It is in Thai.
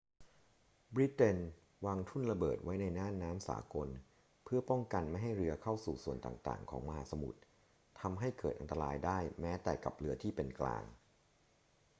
บริเตนวางทุ่นระเบิดไว้ในน่านน้ำสากลเพื่อป้องกันไม่ให้เรือเข้าสู่ส่วนต่างๆ ของมหาสมุทร ทำให้เกิดอันตรายได้แม้แต่กับเรือที่เป็นกลาง